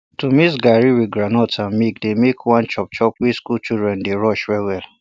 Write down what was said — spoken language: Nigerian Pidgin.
to mix garri with groundnut and milk dey make one chop chop wey school children dey rush well well